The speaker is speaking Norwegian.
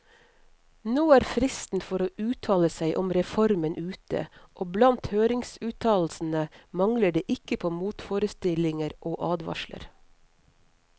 Nå er fristen for å uttale seg om reformen ute, og blant høringsuttalelsene mangler det ikke på motforestillinger og advarsler.